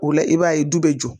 O la i b'a ye du bɛ jɔ